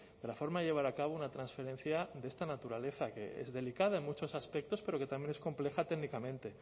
de la forma de llevar a cabo una transferencia de esta naturaleza que es delicada en muchos aspectos pero que también es compleja técnicamente